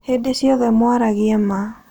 Hĩndĩ ciothe mwaragie ma.